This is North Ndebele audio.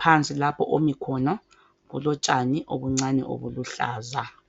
phansi lapho omi khona kulotshani obuncane ubuluhlaza